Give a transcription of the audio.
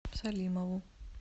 салимову